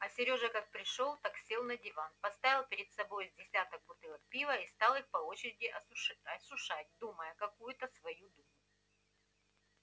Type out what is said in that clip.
а серёжа как пришёл так сел на диван поставил перед собой с десяток бутылок пива и стал их по очереди осушать думая какую-то свою думу